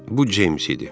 Bu Ceyms idi.